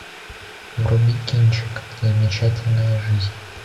вруби кинчик замечательная жизнь